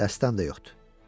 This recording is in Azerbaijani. Dəstəm də yoxdur.